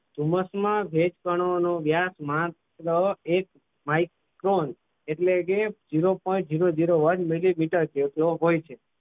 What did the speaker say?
ધુમ્મસમાં ભેજકણોનો વ્યાસ માત્ર એક micron એટલે કે zero point zero zero one millimeter હોય છે.